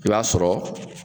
I b'a sɔrɔ